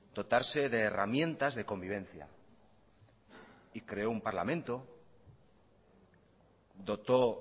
dotarse de herramientas de convivencia y creó un parlamento dotó